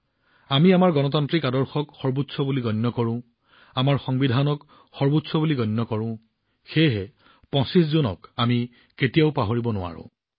আমি আমাৰ গণতান্ত্ৰিক আদৰ্শক সৰ্বোচ্চ বুলি গণ্য কৰোঁ আমাৰ সংবিধানক সৰ্বোচ্চ বুলি গণ্য কৰোঁ সেয়েহে ২৫ জুন তাৰিখটোও আমি কেতিয়াও পাহৰিব নোৱাৰো